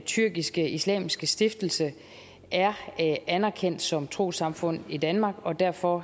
tyrkisk islamisk stiftelse er anerkendt som trossamfund i danmark og derfor